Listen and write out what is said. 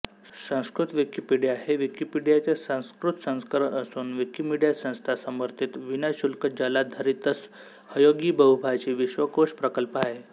Sanskrit Wikipedia हे विकिपीडियाचे संस्कृत संस्करण असून विकिमीडिया संस्था समर्थित विनाशुल्कजालाधारितसहयोगीबहुभाषी विश्वकोश प्रकल्प आहे